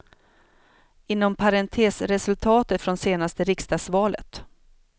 Inom parentes resultatet från senaste riksdagsvalet.